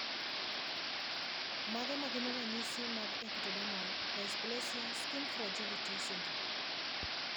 Mage magin ranyisi mag Ectodermal dysplasia skin fragility syndrome?